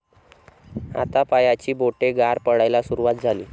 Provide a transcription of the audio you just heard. हातापायांची बोटे गार पडायला सुरुवात झाली.